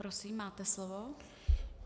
Prosím, máte slovo.